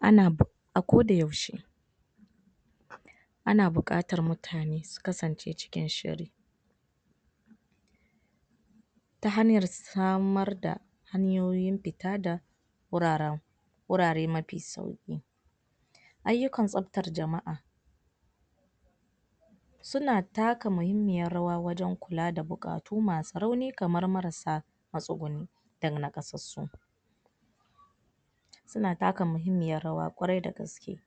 Ana a ko da yaushe a na bukatar mutane su kasance cikin shiri ta hanyar samar da hanyoyin fita da wuraren wurare ma fi sauki ayukar sabtar jamaa su na takka mahimmiyar rawa wajen kulla da bukatu ma su rauni kamar mara sa masuguni danna kassasu. Su na takka mahimmiyar rawa kaurai da gaske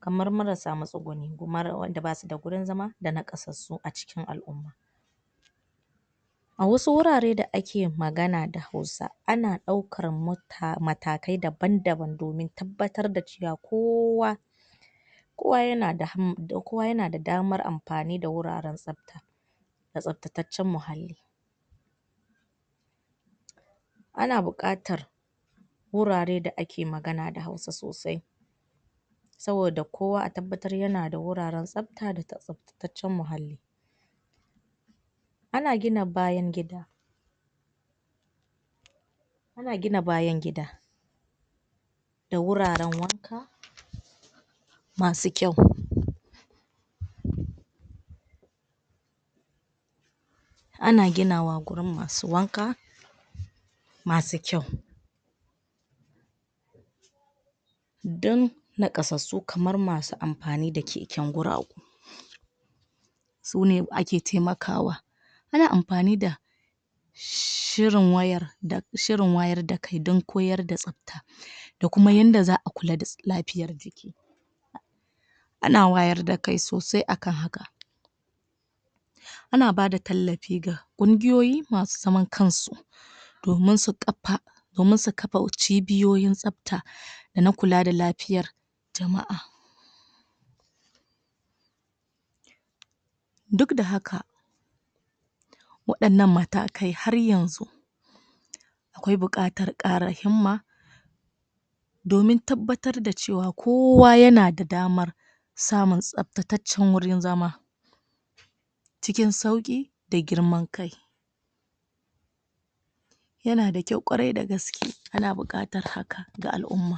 kamar marasa masuguni ko mara wanda ba su da gurin zama da na kassasu a cikin alumma. A wassu wurare da a ke magana da hausa a na daukar mota, matakai daban daban domin tabbatar da cewa kowa kowa ya na da ham kowa ya na da damar amfani da wuraren sabta da sabtacaccen muhali a na bukatar wurare da a ke magana da hausa sosai saboda kowa a tabbatar ya na da wuraren sabta da sabtaceccen muhali. a na gina bayan gida a na gina bayan gida da wuraren wanka masu kyau A na ginawa gurin masu wanka masu kyau dan na kassasu kamar masu amfani da keken guragu. Su ne a ke taimakawa, a na amfani da shirin wayar da, shirin wayar da kai dun koyar da sabta. da kuma yanda zaa kulla da su lafiya a na wayar da kai sosai a kan haka a na ba da tallafi ga, kunguyoyi masu zamar kan su domun su kapa domin su kapa cibiyoyin sabta da na kulla da lafiyar, jamaa duk da haka wadannan matakai har yanzu akwai bukatar kara himma domin tabbatar da cewa kowa ya na da damar samun sabtacecen wurin zama cikin sauki da girman kai ya na da kyau kwarai da gaske a na bukatar haka ga alumma.